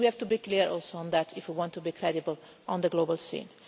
And we have to be clear also on that if we want to be credible on the global scene.